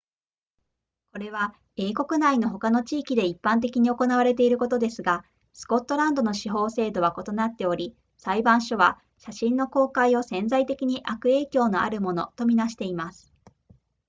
これは英国内の他の地域で一般的に行われていることですがスコットランドの司法制度は異なっており裁判所は写真の公開を潜在的に悪影響のあるものと見なしています